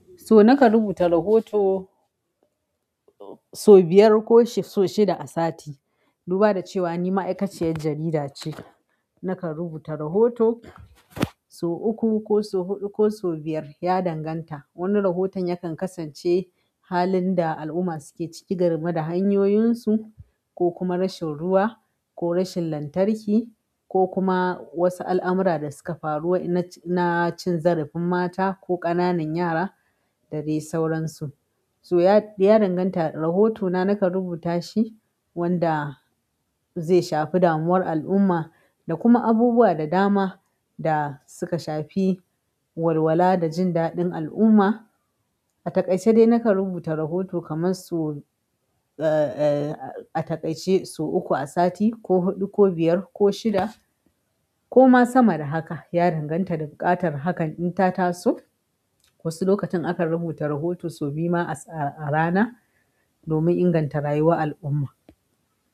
So nakan rubuta rahoto sau biyar ko sau shida a sati, duba da cewa ni ma'aikaciyar jarida ce. Nakan rubuta rahoto sau uku ko sau huɗu ko sau biyar, ya danganta. Wani rahoton yakan kasance halin da al'umma suke ciki game da hanyoyinsu ko kuma rashin ruwa ko rashin lantarki ko kuma wasu al'amura da suka faru na cin zarafin mata ko ƙananan yara da dai sauransu. So ya danganta. Rahotona nakan rubuta shi wanda zai shafi damuwar al'umma da kuma abubuwa da dama da suka shafi walwala da jin daɗin al'umma. A takaice dai nakan rubuta rahoto kamar sau uku a sati ko huɗu ko biyar ko shida ko ma sama da haka, ya danganta da buƙatar hakan in tata so. Wasu lokutan akan rubuta rahoto sau biyu ma a rana domin inganta rayuwar al'umma.